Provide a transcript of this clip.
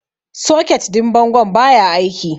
Soket din bangon baya aiki.